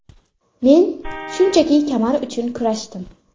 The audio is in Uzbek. Men shunchaki kamar uchun kurashdim.